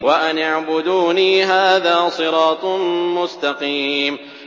وَأَنِ اعْبُدُونِي ۚ هَٰذَا صِرَاطٌ مُّسْتَقِيمٌ